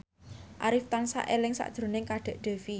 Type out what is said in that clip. Arif tansah eling sakjroning Kadek Devi